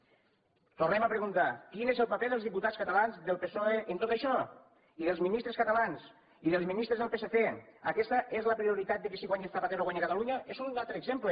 i ho tornem a preguntar quin és el paper dels diputats catalans del psoe en tot això i dels ministres catalans i dels ministres del psc aquesta és la prioritat que si guanya zapatero guanya catalunya és un altre exemple